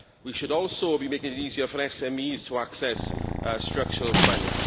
We should also be making it easier for SMEs to access structural funds.